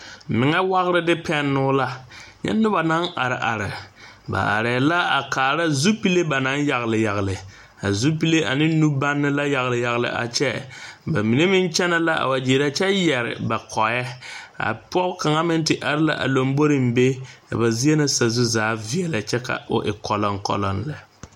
meŋɛ wagere de pɛnno la, nyɛ noba naŋ are are, ba aree la a kaara zupili ba naŋ yagele yagele, a zupile ane nubanne la yagele yagele a kyɛ, ba mine meŋ kyɛne la wa gyere a kyɛ yɛre ba kɔɛ, a pɔge kaŋa meŋ te are la a lambori be, a ba zie na sazu zaa veɛlɛ kyɛ ka o e kɔloŋ kɔloŋ lɛ.